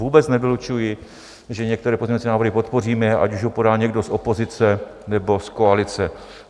Vůbec nevylučuji, že některé pozměňovací návrhy podpoříme, ať už ho podá někdo z opozice, nebo z koalice.